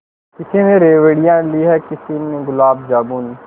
किसी ने रेवड़ियाँ ली हैं किसी ने गुलाब जामुन